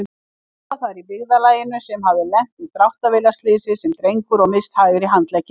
bónda þar í byggðarlaginu sem hafði lent í dráttarvélarslysi sem drengur og misst hægri handlegginn.